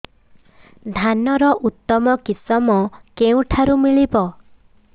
ଧାନର ଉତ୍ତମ କିଶମ କେଉଁଠାରୁ ମିଳିବ